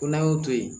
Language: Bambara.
Ko n'an y'o to yen